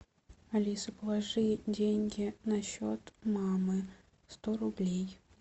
алиса положи деньги на счет мамы сто рублей